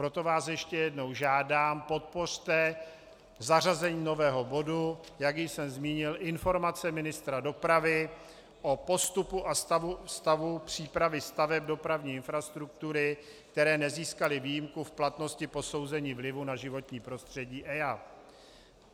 Proto vás ještě jednou žádám: Podpořte zařazení nového bodu, jak již jsem zmínil, Informace ministra dopravy o postupu a stavu přípravy staveb dopravní infrastruktury, které nezískaly výjimku v platnosti posouzení vlivu na životní prostředí EIA.